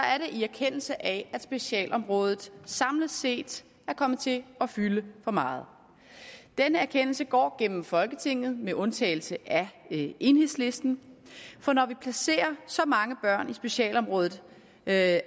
i erkendelse af at specialområdet samlet set er kommet til at fylde for meget den erkendelse går gennem folketinget med undtagelse af enhedslisten for når vi placerer så mange børn i specialområdet at